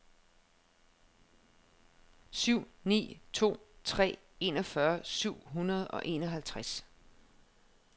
syv ni to tre enogfyrre syv hundrede og enoghalvtreds